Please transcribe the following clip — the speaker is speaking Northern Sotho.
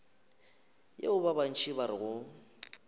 yeo ba bantši ba rego